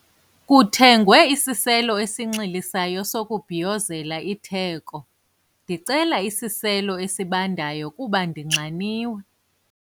Kuthengwe isiselo esinxilisayo sokubhiyozela itheko. ndicela isiselo esibandayo kuba ndinxaniwe